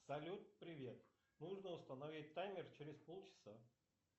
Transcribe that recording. салют привет нужно установить таймер через полчаса